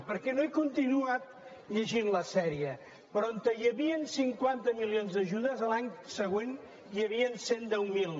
perquè no he continuat llegint la sèrie però on hi havia cinquanta milions d’ajudes l’any següent hi havia cent i deu mil